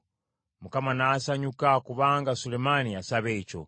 Mukama n’asanyuka kubanga Sulemaani yasaba ekyo.